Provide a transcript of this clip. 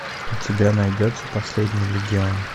у тебя найдется последний легион